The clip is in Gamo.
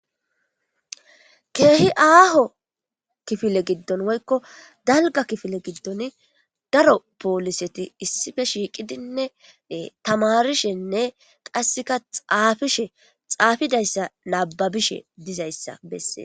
keehi aaho kifile giddon woykko dalga kifile giddon daro pooliseti issife shiiqidinne tamarishenne qasseka xaafishe xaafidayssa nababishe dizayssa bessee